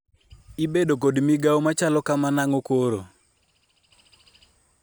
ibedo kod migawo machalo kama nang'o koro?